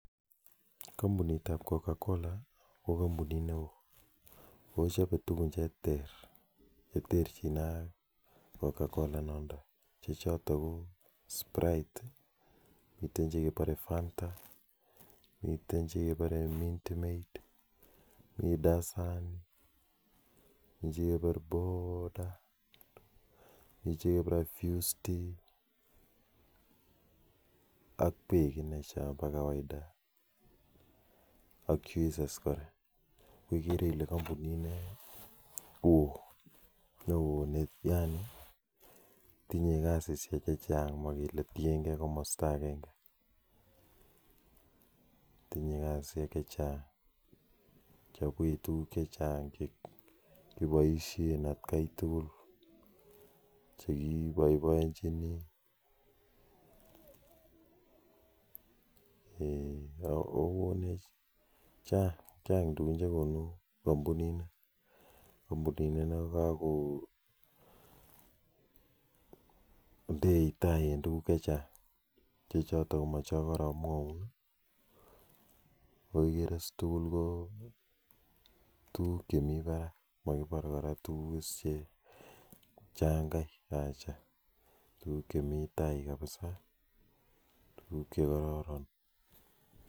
Kampuniit ap kokakola ko kampuniit neoo che cho pee soteek chekekoruu sprite fanta juices ak peek ak ikere ile kampunit neo naaa ako koneech tugun chechang ako kakonde taii tgun chechang ak ikere ile tugun chekonuu ko tugun chekararan